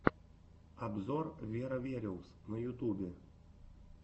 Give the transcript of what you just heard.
обзор веро вериус на ютубе